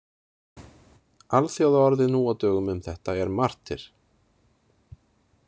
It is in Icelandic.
Alþjóðaorðið nú á dögum um þetta er martyr.